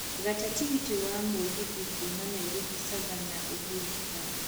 gata tigiti wa mũgithi kuuma nairobi savannah uhuru park